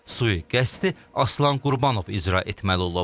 Sui-qəsdi Aslan Qurbanov icra etməli olub.